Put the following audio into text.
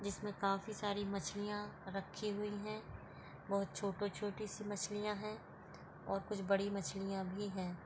जिसमें काफी सारी मछली राखी हुई है बहुत छोटी छोटी सी मछलिया है और कुछ बड़ी मछलिया भी राखी हुई।